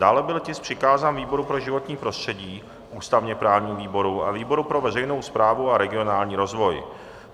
Dále byl tisk přikázán výboru pro životní prostředí, ústavně-právnímu výboru a výboru pro veřejnou správu a regionální rozvoj.